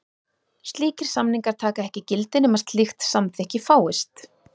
Slíkir samningar taka ekki gildi nema slíkt samþykki fáist.